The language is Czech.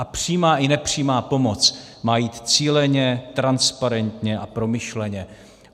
A přímá i nepřímá pomoc má jít cíleně, transparentně a promyšleně.